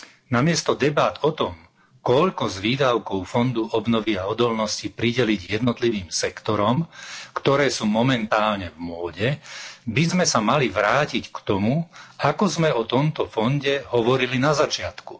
Namiesto debát o tom, koľko z výdavkov fondu obnovy a odolnosti prideliť jednotlivým sektorom, ktoré sú momentálne v móde, by sme sa mali vrátiť k tomu, ako sme o tomto fonde hovorili na začiatku.